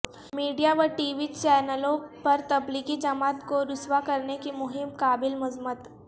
میڈیاو TV چینلوں پر تبلیغی جماعت کو رسوا کرنے کی مہم قابل مذمت